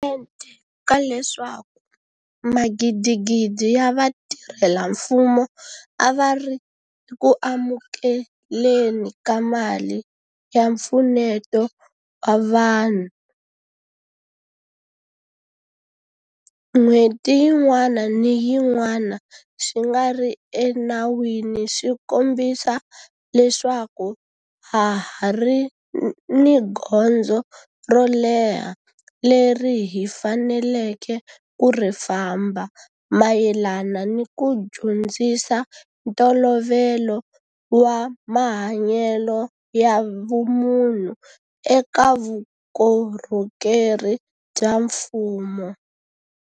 mente ka leswaku magidigidi ya vatirhela mfumo a va ri eku amukele ni ka mali ya mpfuneto wa vanhu n'hweti yin'wana ni yin'wana swi nga ri enawini swi kombisa leswaku ha ha ri ni gondzo ro leha leri hi faneleke ku ri famba mayelana ni ku dyondzisa ntolovelo wa mahanyelo ya vumunhu eka vukorhokeri bya mfumo.